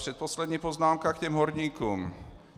Předposlední poznámka k těm horníkům.